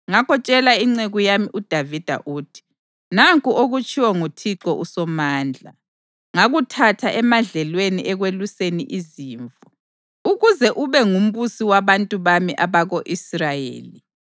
Ngakho tshela inceku yami uDavida ukuthi, ‘Nanku okutshiwo nguThixo uSomandla: Ngakuthatha emadlelweni ekweluseni izimvu, ukuze ube ngumbusi wabantu bami abako-Israyeli.